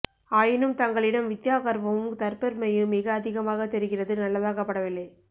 ஆயினும் தங்களிடம் வித்யா கர்வமும் தற்பெ ருமையும் மிக அதிமாக தெரிகிறது நல்லதாக படவில்லை